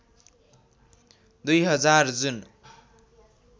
२००० जुन